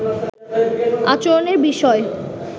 আচরণের বিষয়ে